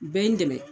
U bɛɛ ye n dɛmɛ